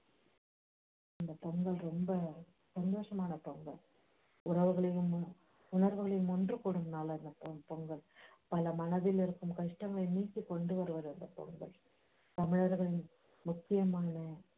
அந்த பொங்கல் ரொம்ப சந்தோஷமான பொங்கல் உறவுகளும் உறவுகளும் ஒன்று கூடும் நால் அந்த பொங்கல் பல மனதில் இருக்கும் கஷ்டங்கள் நீக்கி கொண்டுவருவது அந்த பொங்கல் தமிழர்களின் முக்கியமான